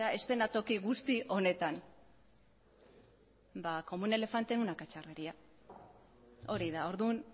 eszenatoki guzti honetan ba como un elefante en una cacharrería hori da orduan